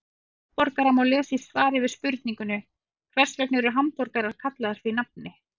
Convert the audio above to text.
Um hamborgara má lesa í svari við spurningunni Hvers vegna eru hamborgarar kallaðir því nafni?